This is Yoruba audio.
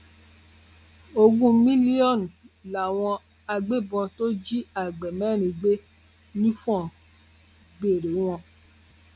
ogún mílíọnù làwọn agbébọn tó jí àgbẹ mẹrin gbé nifọn ń béèrèwọn